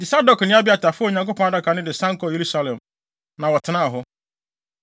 Enti Sadok ne Abiatar faa Onyankopɔn Adaka no de san kɔɔ Yerusalem, na wɔtenaa hɔ.